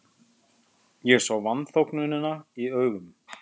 Ég sá vanþóknunina í augum